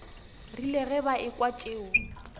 rile ge ba ekwa tšeo